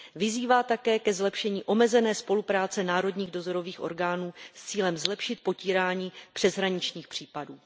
Vyzývá také ke zlepšení omezené spolupráce národních dozorových orgánů s cílem zlepšit potírání přeshraničních případů.